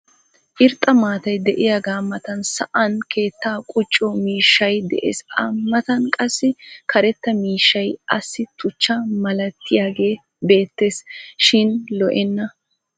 irxxa maatay diyagaa matan saan keettaa qucciyo miishshay des. a matan qassi karetta miishshay assi tuchchaa malatiyagee beetees. shin lo'enna